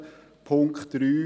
Punkt 3: